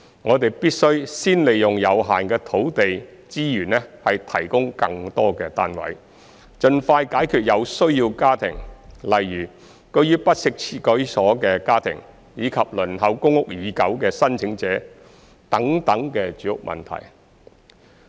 我們必須先利用有限的土地資源提供更多單位，盡快解決有需要家庭，例如居於不適切居所的家庭，以及輪候公屋已久的申請者等住屋問題。